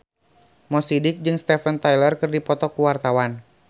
Mo Sidik jeung Steven Tyler keur dipoto ku wartawan